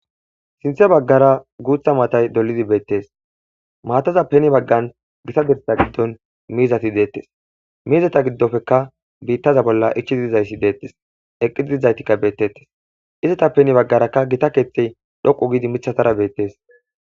Sinthe baggara guutha maatay dolidi beettees maataza peni baggan gita gidtda giddon miizati deettes miizeta giddofeka biittaza bolla ichchi dizayssi deettes eqqi dizaytikka beettettes izeta peni baggarakka gita keeththey dhoqu gidi mithatara beettees.